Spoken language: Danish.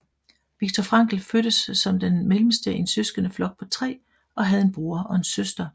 Viktor Frankl fødtes som den mellemste i en søskendeflok på tre og havde en bror og en søster